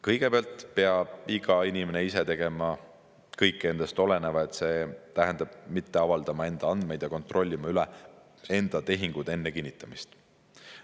" Kõigepealt peab iga inimene ise tegema kõik endast oleneva, see tähendab mitte avaldama enda andmeid ja kontrollima üle enda tehingud enne kinnitamist.